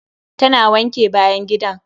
Ta na wanke bayan gidan.